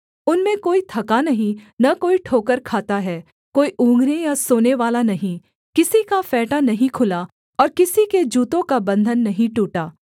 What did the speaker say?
उनमें कोई थका नहीं न कोई ठोकर खाता है कोई उँघने या सोनेवाला नहीं किसी का फेंटा नहीं खुला और किसी के जूतों का बन्धन नहीं टूटा